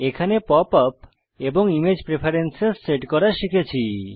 এখানে pop up এবং image preferences set করা শিখেছি